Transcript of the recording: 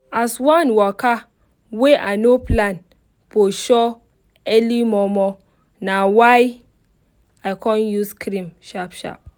as one waka wey i no plan for show early momo na why i con use cream sharp sharp